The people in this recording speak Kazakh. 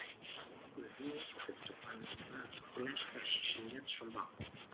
өзін не күтіп тұрғаны күләшқа шешілмес жұмбақ болды